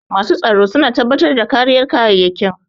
Masu tsaro su na tabbatar da kariyar kayyayakin